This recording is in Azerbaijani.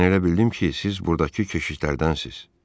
Mən elə bildim ki, siz burdakı keşişlərdənsiz.